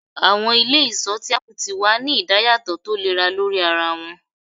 Awọn ile-iṣọ ti apu ti wa ni idayatọ tolera lori ara wọn